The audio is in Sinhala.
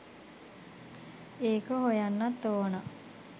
ඒක හොයන්නත් ඕන